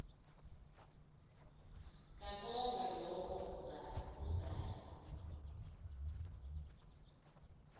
kabongwe low uzayo